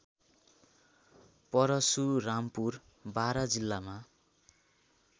परशुरामपुर बारा जिल्लामा